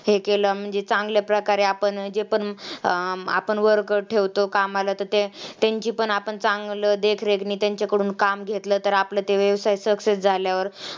हे केलं की चांगल्या प्रकारे आपण जे पण अं आपण worker ठेवतो, कामाला तर ते तेंची पण आपण चांगलं देखरेखनी त्यांच्याकडून काम घेतलं तर आपलं ते व्यवसाय success झाल्यावर